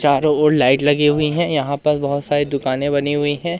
चारों ओर लाइट लगी हुई हैं यहां पर बहुत सारी दुकानें बनी हुई हैं।